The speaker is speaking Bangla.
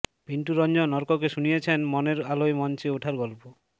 পিন্টু রঞ্জন অর্ককে শুনিয়েছেন মনের আলোয় মঞ্চে ওঠার গল্প